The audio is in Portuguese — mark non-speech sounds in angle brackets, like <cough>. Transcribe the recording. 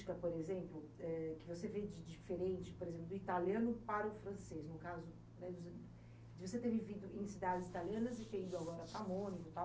Qual é a característica, por exemplo, eh, que você vê de diferente, por exemplo, do italiano para o francês? No caso, né, de você ter vivido em cidades italianas e <unintelligible>